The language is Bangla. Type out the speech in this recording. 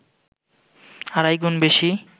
আড়াই গুণ বেশি